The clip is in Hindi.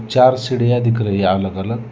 चार सीढ़ियां दिख रही हैं अलग अलग।